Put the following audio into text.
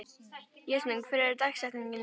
Jasmín, hver er dagsetningin í dag?